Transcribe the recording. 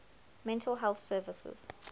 mental health services